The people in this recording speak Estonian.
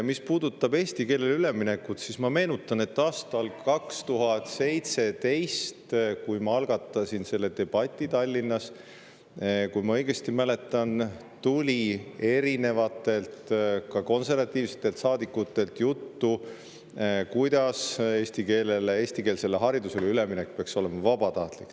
Mis puudutab eesti keelele üleminekut, siis ma meenutan, et aastal 2017, kui ma algatasin selle debati Tallinnas, kui ma õigesti mäletan, siis tuli erinevatelt, ka konservatiivsetelt saadikutelt juttu, kuidas eesti keelele ja eestikeelsele haridusele üleminek peaks olema vabatahtlik.